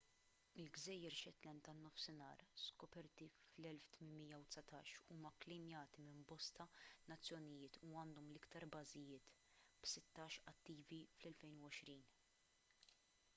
il-gżejjer shetland tan-nofsinhar skoperti fl-1819 huma kklejmjati minn bosta nazzjonijiet u għandhom l-iktar bażijiet b'sittax attivi fl-2020